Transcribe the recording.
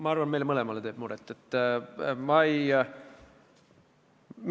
Ma arvan, et meile mõlemale teeb see muret.